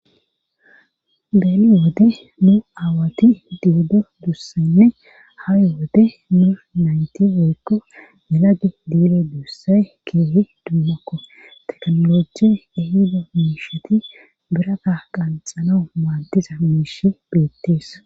beeni wode nu aawati diido duussenne hayowode nu nayti wykko lageti dido duussay keehi dummakko tekaolochi ehido miishati biraka qanxano maadiza miishi beettees